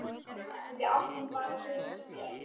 Við áttum bara Birgi Björn.